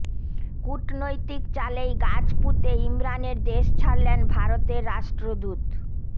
কূটনৈতিক চালেই গাছ পুঁতে ইমরানের দেশ ছাড়লেন ভারতের রাষ্ট্রদূত